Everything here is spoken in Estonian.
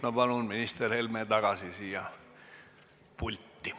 Ma palun minister Helme tagasi siia pulti!